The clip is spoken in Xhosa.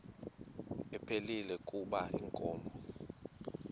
ephilile kuba inkomo